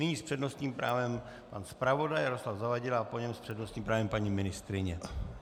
Nyní s přednostním právem pan zpravodaj Jaroslav Zavadil a po něm s přednostním právem paní ministryně.